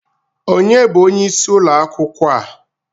Onye bụ onye isi akwụkwọ a?